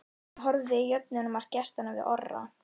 Hvernig horfði jöfnunarmark gestanna við Orra?